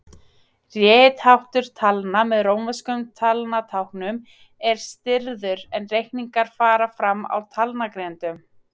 Ritháttur talna með rómverskum talnatáknum er stirður en reikningar fara fram á talnagrindum.